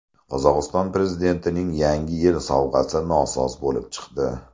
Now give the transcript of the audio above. Qozog‘iston prezidentining Yangi yil sovg‘asi nosoz bo‘lib chiqdi.